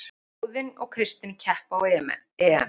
Óðinn og Kristinn keppa á EM